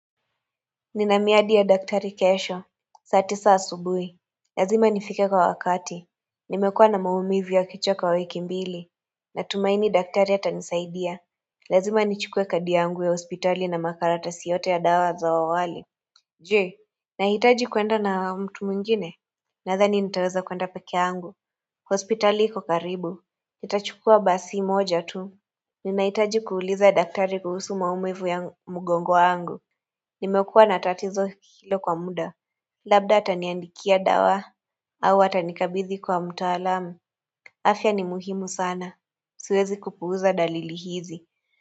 Nina miadi ya daktari kesho. Saa tisa asubuhi. Lazima nifike kwa wakati. Nimekuwa na maumivu ya kichwa kwa wiki mbili. Na tumaini daktari atanisaidia. Lazima nichukue kadi yangu ya hospitali na makaratasi yote ya dawa za awali. Jee. Nahitaji kuenda na mtu mwingine. Nadhani nitaweza kuenda peke yangu. Hospitali iko karibu. Nitachukua basi moja tu. Ninahitaji kuuliza daktari kuhusu maumivu ya mgongo wangu. Nimekuwa na tatizo hilo kwa muda Labda ataniandikia dawa au atanikabidhi kwa mtaalamu afya ni muhimu sana Siwezi kupuuza dalili hizi.